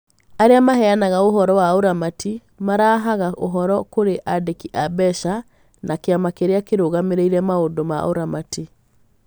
Arĩa maheanaga ũhoro wa ũramati marehaga ũhoro kũrĩ andĩki a mbeca na kĩama kĩrĩa kĩrũgamĩrĩire maũndũ ma ũramati.